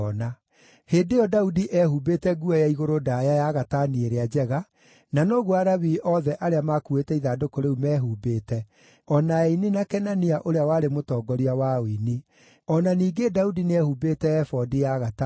Hĩndĩ ĩyo Daudi eehumbĩte nguo ya igũrũ ndaaya ya gatani ĩrĩa njega, na noguo Alawii othe arĩa makuuĩte ithandũkũ rĩu mehumbĩte, o na aini na Kenania ũrĩa warĩ mũtongoria wa ũini. O na ningĩ Daudi nĩehumbĩte ebodi ya gatani.